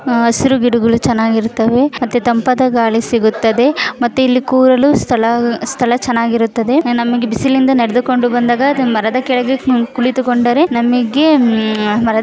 ಹಸಿರು ಗಿಡಗಳು ಚೆನಾಗಿರುತ್ತವೆ ಅತಿ ತಂಪಾದ ಗಾಳಿ ಸಿಗುತ್ತದೆ ಮತ್ತು ಇಲ್ಲಿ ಕೂರಲು ಸ್ಥಳ ಸ್ಥಳ ಚೆನಾಗಿರುತ್ತದೆ ನಮಗೆ ಬಿಸಿಲಿನಿಂದ ನಡೆದುಕೊಂಡು ಬಂದಾಗ ಮರದ ಕೆಳಗೆ ಕುಳಿತುಕೊಂಡರೆ ನಮಗೆ ಹ್ಮ್ಮ್ ಹ್ಮ್ಮ್.